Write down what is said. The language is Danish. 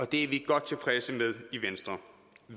det er vi godt tilfredse med i venstre